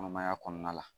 Kɔnɔmaya kɔnɔna la